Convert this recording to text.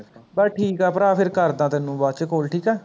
ਬਸ ਠੀਕ ਹੈ ਭਰਾ ਫ਼ੇਰ ਕਰਦਾ ਤੈਨੂੰ ਬਾਅਦ ਚ call ਠੀਕ ਹੈ